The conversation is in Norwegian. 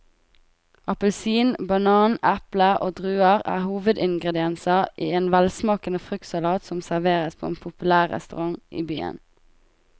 Appelsin, banan, eple og druer er hovedingredienser i en velsmakende fruktsalat som serveres på en populær restaurant i byen.